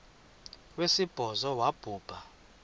wesibhozo wabhu bha